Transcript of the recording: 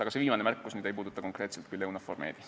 Aga see viimane märkus ei puuduta küll konkreetselt EUNAVFOR MED-i.